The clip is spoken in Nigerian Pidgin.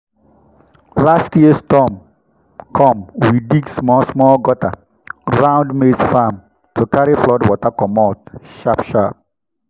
last year storm come we dig small-small gutter round maize farm to carry flood water commot sharp-sharp.